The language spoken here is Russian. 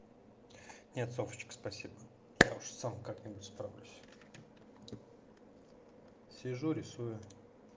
нет софочка спасибо я уж сам как-нибудь справлюсь сижу рисую